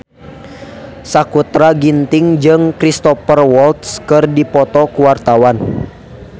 Sakutra Ginting jeung Cristhoper Waltz keur dipoto ku wartawan